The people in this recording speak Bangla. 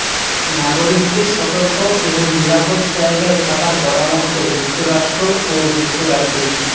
নাগরিকদের সতর্ক এবং নিরাপদ জায়গায় থাকার পরামর্শ যুক্তরাষ্ট্র ও যুক্তরাজ্যের